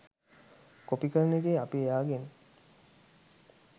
copy කරන එකේ අපි එයාගෙන්